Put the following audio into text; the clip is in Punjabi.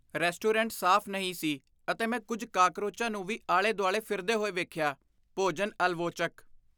ਰੈਸਟੋਰੈਂਟ ਸਾਫ਼ ਨਹੀਂ ਸੀ ਅਤੇ ਮੈਂ ਕੁੱਝ ਕਾਕਰੋਚਾਂ ਨੂੰ ਵੀ ਆਲੇ ਦੁਆਲੇ ਫਿਰਦੇ ਹੋਏ ਵੇਖਿਆ ਭੋਜਨ ਆਲਵੋਚਕ